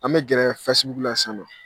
An bɛ gɛrɛ fɛsibuku la sisan nɔ